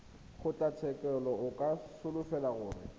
kgotlatshekelo o ka solofela gore